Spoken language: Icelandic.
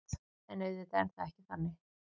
En auðvitað er það ekki þannig